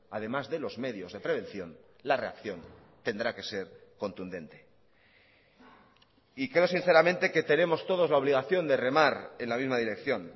además de los medios de prevención la reacción tendrá que ser contundente y creo sinceramente que tenemos todos la obligación de remar en la misma dirección